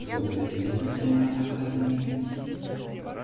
кто-то известен своими рассказами или письмами